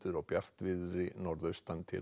og bjartviðri norðaustan til